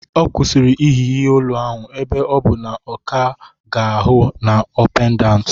Ọ kwụsịrị iyi ihe olu ahụ ebe ọ bụ na ọ ka ga-ahụ na ọ pendant.